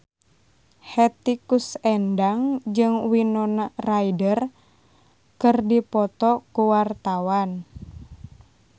Hetty Koes Endang jeung Winona Ryder keur dipoto ku wartawan